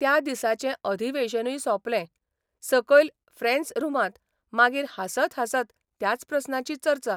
त्या दिसाचें अधिवेशनूय सोंपलें सकयल फ्रेंस रुमांत मागीर हांसत हांसत त्याच प्रस्नाची चर्चा.